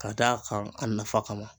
Ka d'a kan a nafa kama.